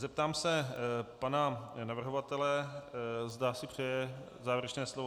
Zeptám se pana navrhovatele, zda si přeje závěrečné slovo.